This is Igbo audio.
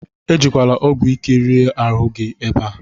Ejila ọgwụ ike riri ahụ ebe a!